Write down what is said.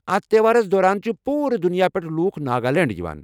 اتھ تہوارَس دوران چھِ پوٗرٕ دنیا پٮ۪ٹھ لوکھ ناگالینڈ یِوان۔